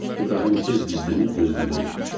İbrahim tez gizlənib gözləməyə başladı.